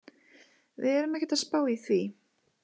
Við erum ekkert að spá í því.